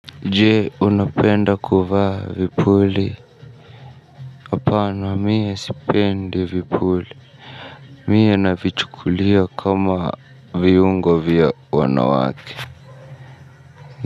Je unapenda kuvaa vipuli. Hapana mie sipendi vipuli mie navichukulia kama viungo vya wanawake.